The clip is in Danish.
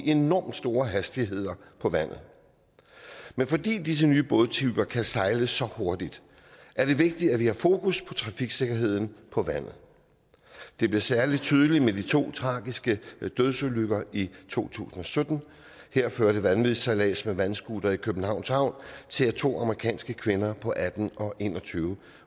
enormt store hastigheder på vandet men fordi disse nye bådtyper kan sejle så hurtigt er det vigtigt at vi har fokus på trafiksikkerheden på vandet det blev særlig tydeligt med de to tragiske dødsulykker i to tusind og sytten her førte vanvidssejlads med vandscooter i københavns havn til at to amerikanske kvinder på atten og en og tyve år